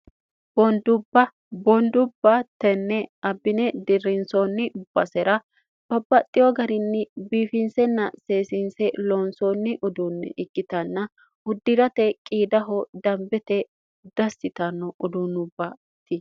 boondubba boondubba tenne abbine dirrinsoonni basera babbaxxiyo garinni biifinsenna seesiinse loonsoonni uduunni ikkitanna huddirate qiidaho dambete dassitanno uduunubbati